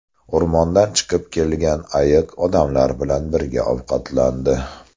O‘rmondan chiqib kelgan ayiq odamlar bilan birga ovqatlandi .